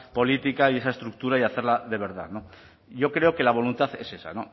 política y esa estructura y hacerla de verdad yo creo que la voluntad es esa